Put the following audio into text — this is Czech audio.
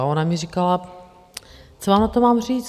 A ona mi říkala - co vám na to mám říct?